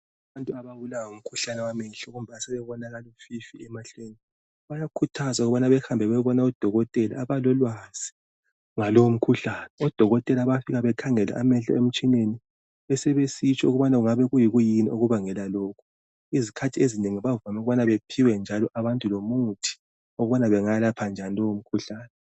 Abantu ababulawa ngumkhuhlane wamehlo kumbe asebebona kalufifi emehlweni bayakhuthazwa ukubana behambe beyebona udokotela abalolwazi ngalowo mkhuhlane. Odokotela bayafika bakhangele amehlo emtshineni besebesitsho ukubana ngabe kuyini okubangela lokho. Izikhathi ezinengi bavame ukubana bephiwe njalo abantu lomuthi ukubana bangawelapha njani lowomkhuhlane.